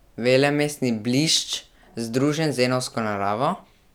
Velemestni blišč združen z zenovsko naravo?